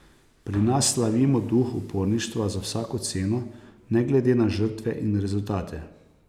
Pri nas slavimo duh uporništva za vsako ceno, ne glede na žrtve in rezultate.